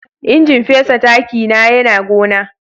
injin fesa taki na Yana gona.